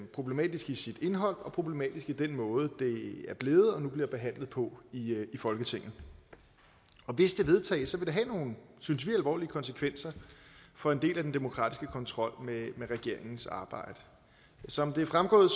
problematisk i sit indhold og problematisk i den måde det er blevet og nu bliver behandlet på i folketinget og hvis det vedtages vil det have nogle synes vi alvorlige konsekvenser for en del af den demokratiske kontrol med regeringens arbejde som det er fremgået